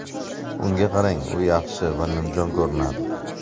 Unga qarang, u yaxshi va nimjon ko‘rinadi.